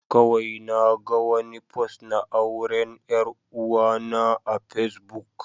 Kawai naga wani fost na auren 'yar uwana a Facebook.